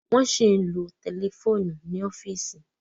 Wọ́n ṣì ń lo tẹlifóònù ni ọ́fíìsì.